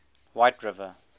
whiteriver